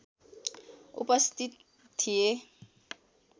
उपस्थित थिए